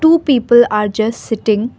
two people are just sitting.